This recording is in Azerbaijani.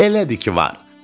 Elədir ki, var.